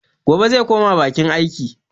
Gobe zai koma bakin aiki.